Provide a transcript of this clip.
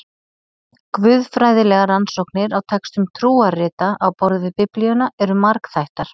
Guðfræðilegar rannsóknir á textum trúarrita á borð við Biblíuna eru margþættar.